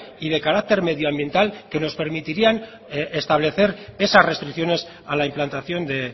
y de carácter medioambiental que nos permitirían establecer esas restricciones a la implantación de